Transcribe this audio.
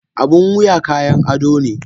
Abun wuya kayan ado ne